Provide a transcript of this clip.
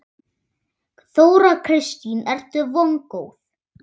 Þóra Kristín: Ertu vongóð?